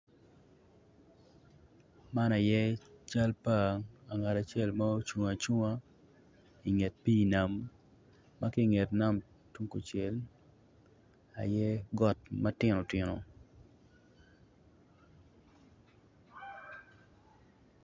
Man aye cal pa angat acel ma ocung acunga inget pii nam ma ki inget pii nam tung kucel aye got ma tino tino